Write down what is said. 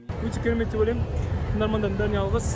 өте керемет деп ойлайм тыңдармандардың бәріне алғыс